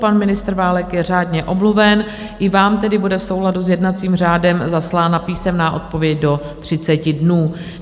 Pan ministr Válek je řádně omluven, i vám tedy bude v souladu s jednacím řádem zaslána písemná odpověď do 30 dnů.